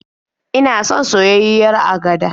Ina son soyayyiyar agada.